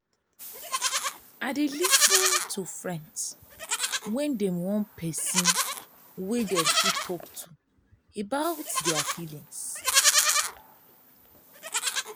i dey lis ten to friends wen dem wan pesin wey dem fit talk to about dia feelings.